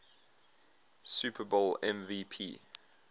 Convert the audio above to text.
super bowl mvp